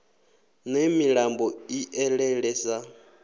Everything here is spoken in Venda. ne milambo i elele sa